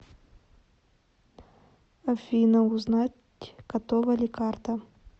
афина узнать готова ли карта